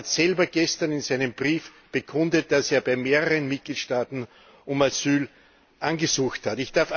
Er hat selber gestern in seinem Brief bekundet, dass er bei mehreren Mitgliedstaaten um Asyl angesucht hat.